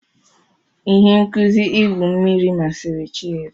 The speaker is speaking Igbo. Ihe nkuzi igwu mmiri masịrị Chidi.